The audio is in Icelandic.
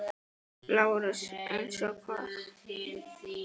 LÁRUS: Eins og hvað?